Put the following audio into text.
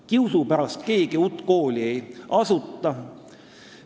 Kiusu pärast keegi uut kooli ei asuta.